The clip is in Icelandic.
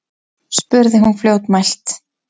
spurði hún fljótmælt.